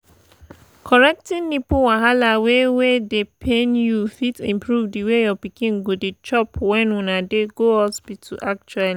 correcting nipple wahala wey wey dey pain you fit improve the way your pikin go dey chop when una dey go hospital actually